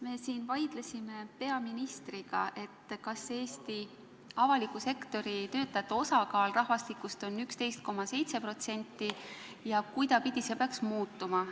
Me siin vaidlesime peaministriga, kas Eesti avaliku sektori töötajate osakaal rahvastikus on 11,7% ja kuidas see peaks muutuma.